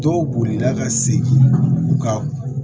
Dɔw bolila ka segin u ka